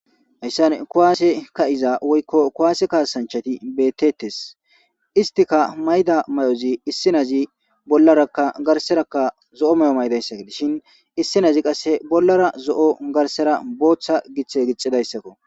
Hayssan kuwaase ka7iza woykko kuwaase kaasanchati bettetes istika mayda may7ozi issinazi bollarakka garserakka zo7o may7o maydayssak dishin issinazi qasse bollara zo7o garsera booththa giththe gixidayssakko